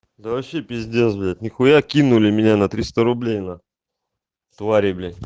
да вообще пиздец блять ни хуя кинули меня на триста рублей на твари бля